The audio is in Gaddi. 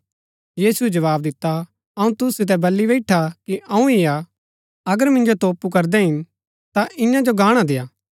यीशुऐ जवाव दिता अऊँ तुसु सितै बली बैईठा कि अऊँ ही हा अगर मिन्जो तोपु करदै हिन ता ईयां जो गाणा देय्आ